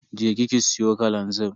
Je ki ki siyo kalanzir.